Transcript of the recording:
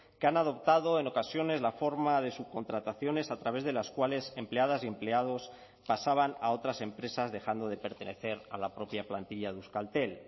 que han adoptado en ocasiones la forma de subcontrataciones a través de las cuales empleadas y empleados pasaban a otras empresas dejando de pertenecer a la propia plantilla de euskaltel